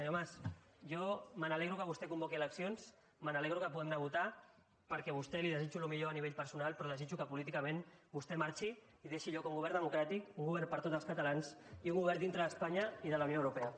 senyor mas jo m’alegro que vostè convoqui eleccions m’alegro que puguem anar a votar perquè a vostè li desitjo el millor a nivell personal però desitjo que políticament vostè marxi i deixi lloc a un govern democràtic un govern per a tots els catalans i un govern dintre d’espanya i de la unió europea